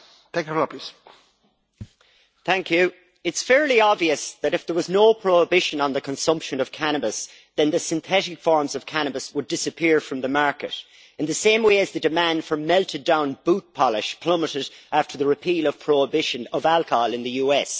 Mr President, it is fairly obvious that, if there was no prohibition on the consumption of cannabis, the synthetic forms of cannabis would disappear from the market in the same way that the demand for melted-down boot polish plummeted after the repeal of prohibition of alcohol in the US.